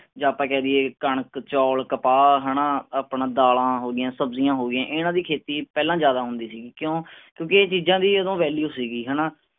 ਯਾਂ ਆਪਾਂ ਕਹਿ ਦਈਏ ਕਣਕ ਚੌਲ ਕਪਾਹ ਹੈਨਾ ਆਪਣਾ ਦਾਲਾਂ ਹੋਗੀਆਂ ਸਬਜ਼ੀਆਂ ਹੋਗੀਆਂ ਇਹਨਾਂ ਦੀ ਖੇਤੀ ਪਹਿਲਾਂ ਜਿਆਦਾ ਹੁੰਦੀ ਸੀਗੀ। ਕਿਉਂ, ਕਿਉਂਕਿ ਇਹ ਚੀਜ਼ਾਂ ਦੀ ਉਦੋਂ ਸੀਗੀ ਹੈਨਾ।